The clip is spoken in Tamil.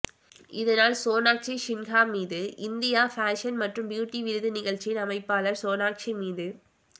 இதனால் சோனாஷி சின்ஹா மீது இந்தியா ஃபேஷன் மற்றும் பியூட்டி விருது நிகழ்ச்சியின் அமைப்பாளர்கள் சோனாக்ஷி மீது